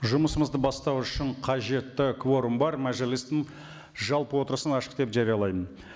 жұмысымызды бастау үшін қажетті кворум бар мәжілістің жалпы отырысын ашық деп жариялаймын